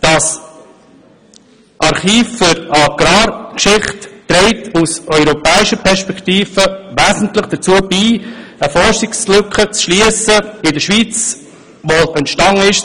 Das Archiv für Agrargeschichte trägt aus europäischer Perspektive wesentlich dazu bei, in der Schweiz eine Forschungslücke zu schliessen, die zwischen 1990 und heute entstanden ist.